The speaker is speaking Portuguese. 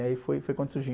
E aí foi, foi quando surgiu.